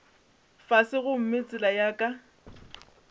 fase gomme tsela ya ka